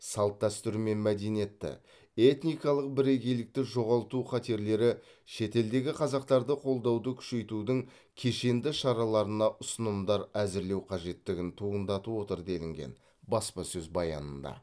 салт дәстүр мен мәдениетті этникалық бірегейлікті жоғалту қатерлері шетелдегі қазақтарды қолдауды күшейтудің кешенді шараларына ұсынымдар әзірлеу қажеттігін туындатып отыр делінген баспасөз баянында